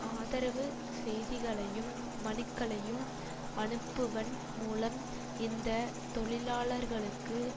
ஆதரவு செய்திகளையும் மனுக்களையும் அனுப்புவன் மூலம் இந்த தொழிலாளர்களுக்கு